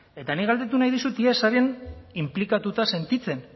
eta nik galdetu nahi dizut ea zaren inplikatuta sentitzen